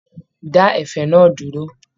Dá ẹ̀fẹ̀ náà dúró!